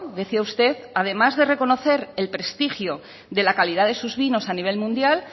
decía usted además de reconocer el prestigio de la calidad de sus vinos a nivel mundial